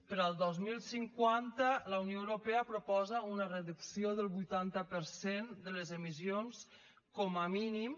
per al dos mil cinquanta la unió europea proposa una reducció del vuitanta per cent de les emissions com a mínim